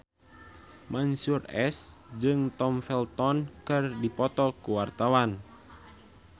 Mansyur S jeung Tom Felton keur dipoto ku wartawan